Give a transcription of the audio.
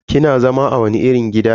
Kina zama a wani irin gida ne?